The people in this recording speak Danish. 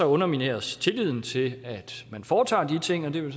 undermineres tilliden til at man foretager de ting og det vil